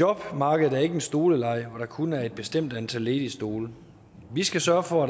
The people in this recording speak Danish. jobmarkedet er ikke en stoleleg hvor der kun er et bestemt antal ledige stole vi skal sørge for at